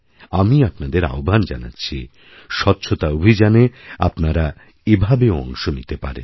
আমি আপনাদের আহ্বান জানাচ্ছিস্বচ্ছতা অভিযানে আপনারা এভাবেও অংশ নিতে পারেন